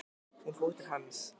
Hún fór til hans.